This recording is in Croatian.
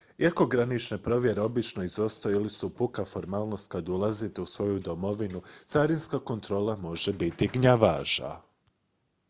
iako granične provjere obično izostaju ili su puka formalnost kad ulazite u svoju domovinu carinska kontrola može biti gnjavaža